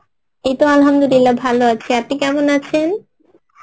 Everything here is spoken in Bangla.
এইতো Arbi ভালো আছি আপনি কেমিন আছেন?